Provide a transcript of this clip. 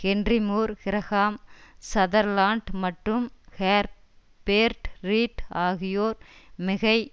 Henry Moore Graham Sutherland மற்றும் Herbert Read ஆகியோர் மிகை